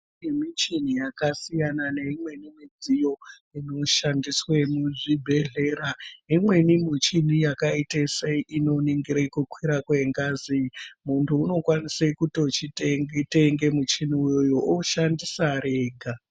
Yemichi yakasiyana neimweni midziyo inoshandiswe muzvibhedhlera imweni michini yakaite sei inoningire kukwire kwengazi munhu unokwanise kutochite chitenge muchini uwowow oshandisa ari ega.